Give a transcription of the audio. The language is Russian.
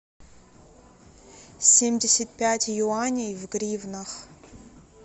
семьдесят пять юаней в гривнах